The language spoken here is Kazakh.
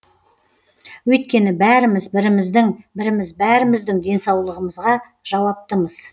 өйткені бәріміз біріміздің біріміз бәріміздің денсаулығымызға жауаптымыз